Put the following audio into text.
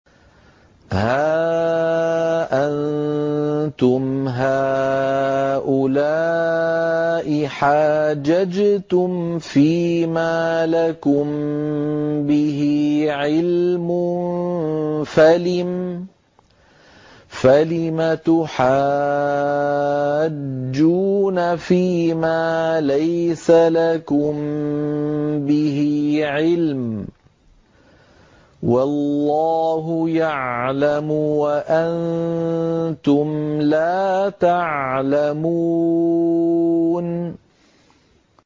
هَا أَنتُمْ هَٰؤُلَاءِ حَاجَجْتُمْ فِيمَا لَكُم بِهِ عِلْمٌ فَلِمَ تُحَاجُّونَ فِيمَا لَيْسَ لَكُم بِهِ عِلْمٌ ۚ وَاللَّهُ يَعْلَمُ وَأَنتُمْ لَا تَعْلَمُونَ